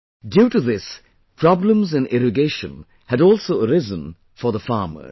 Due to this, problems in irrigation had also arisen for the farmers